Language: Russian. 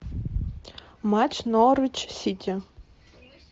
матч норвич сити